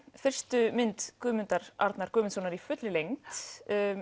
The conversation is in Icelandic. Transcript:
fyrstu mynd Guðmundar Arnar Guðmundssonar í fullri lengd